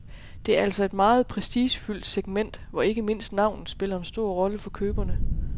Det er altså et meget prestigefyldt segment, hvor ikke mindst navnet spiller en stor rolle for køberne.